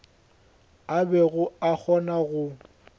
a bego a kgona go